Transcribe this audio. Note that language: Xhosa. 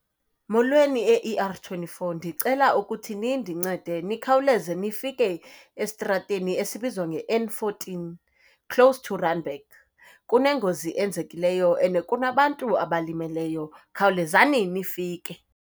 Molweni eE_R twenty-four, ndicela ukuthi nindincede nikhawuleze nifike estrateni esibizwa ngeN fourteen, close to Randburg. Kunengozi enzekileyo and kunabantu abalimeleyo, khawulezani nifike.